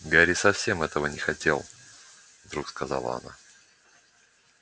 гарри совсем этого не хотел вдруг сказала она